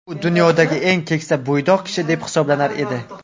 U dunyodagi eng keksa bo‘ydoq kishi deb hisoblanar edi.